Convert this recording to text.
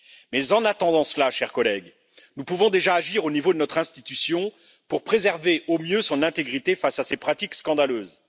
Mais, en attendant cela, chers collègues, nous pouvons déjà agir au niveau de notre institution pour préserver au mieux son intégrité face à ces pratiques scandaleuses.